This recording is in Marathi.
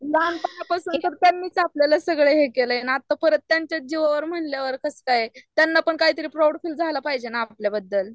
लहानपणा पासून आपल्यालाच सगळे हे केलंय आणि परत त्याच्याच जीवावर म्हणल्यावर कसंकाय, त्यांना पण तरी काय तर प्राऊड फील झाला पाहिजेना आपल्या बद्दल .